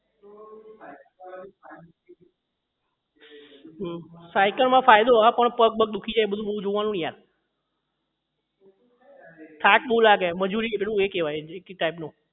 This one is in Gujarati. સાયકલ માં ફાયદો હા પણ પગ બગ દુઃખી જાય બધું બૌ જોવાનું ને યાર એ થાક બહુ લાગે મજૂરી એક એ કહેવાય એ type નું